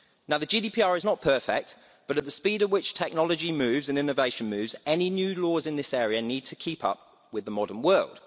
The GDPR is not perfect, but at the speed at which technology moves and innovation moves, any new laws in this area need to keep up with the modern world.